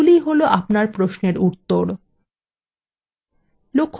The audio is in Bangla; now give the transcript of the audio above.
এগুলিই হল আপনার প্রশ্নের উত্তর